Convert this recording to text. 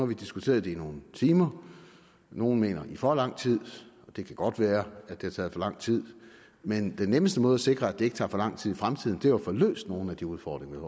vi diskuteret det i nogle timer nogle mener i for lang tid og det kan godt være at det har taget for lang tid men den nemmeste måde at sikre at det ikke tager for lang tid i fremtiden er jo at få løst nogle af de udfordringer